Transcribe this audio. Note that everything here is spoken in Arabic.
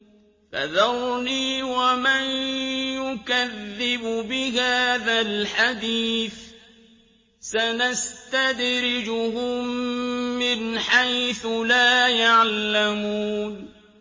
فَذَرْنِي وَمَن يُكَذِّبُ بِهَٰذَا الْحَدِيثِ ۖ سَنَسْتَدْرِجُهُم مِّنْ حَيْثُ لَا يَعْلَمُونَ